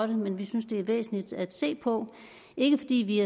det men vi synes det er væsentligt at se på ikke fordi vi